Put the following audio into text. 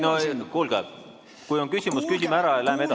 No kuulge, kui on küsimus, siis küsime ära ja läheme edasi.